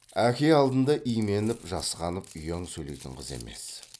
әке алдында именіп жасқанып ұяң сөйлейтін қыз емес